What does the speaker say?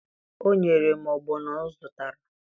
O nyere m ọgbọnọ ọ zụtara